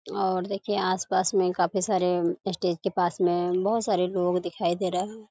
और देखिए आस-पास में काफी सारे स्टेज के पास में बहुत सारे लोग दिखाई दे रहे हैं।